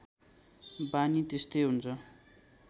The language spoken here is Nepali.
बानी त्यस्तै हुन्छ